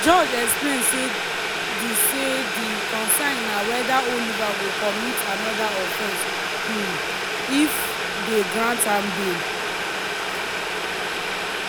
but di judge explain say di say di concern na whether oliver go commit anoda offense um if dey grant am bail.